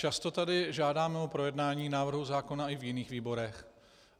Často tady žádáme o projednání návrhu zákona i v jiných výborech.